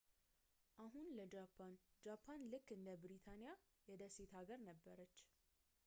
አሁን ለጃፓን ጃፓን ልክ እንደ ብሪታንያ የደሴት አገር ነበረች